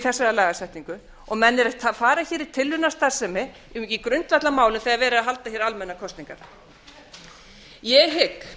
þessari lagasetningu menn eru að fara hér í tilraunastarfsemi í grundvallarmálum þegar verið er að halda hér almennar kosningar ég hygg